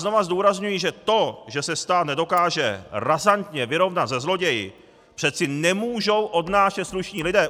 Znovu zdůrazňuji, že to, že se stát nedokáže razantně vyrovnat se zloději, přeci nemůžou odnášet slušní lidé!